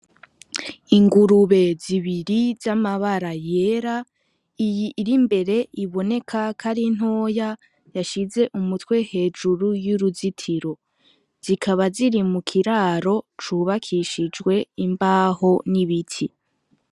Ingurube zibiri z’amabara yera, iyi iri imbere iboneka ko ari ntoya yashize umutwe hejuru y'uruzitiro. Zikaba ziri mu kiraro cubakishijwe imbaho n'ibiti.